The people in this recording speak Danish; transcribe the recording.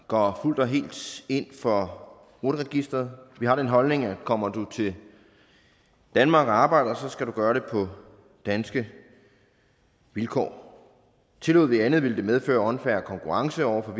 går fuldt og helt ind for rut registeret vi har den holdning at kommer du til danmark og arbejder skal du gøre det på danske vilkår tillod vi andet ville det medføre unfair konkurrence over for